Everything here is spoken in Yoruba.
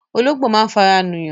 Ológbò máa ń fara nù yàn